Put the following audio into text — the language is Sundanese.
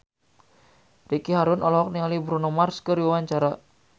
Ricky Harun olohok ningali Bruno Mars keur diwawancara